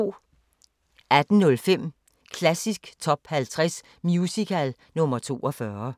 18:05: Klassisk Top 50 Musical – nr. 42